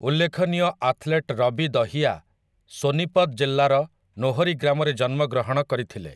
ଉଲ୍ଲେଖନୀୟ ଆଥଲେଟ୍ ରବି ଦହିଆ ସୋନିପତ ଜିଲ୍ଲାର ନାହରୀ ଗ୍ରାମରେ ଜନ୍ମଗ୍ରହଣ କରିଥିଲେ ।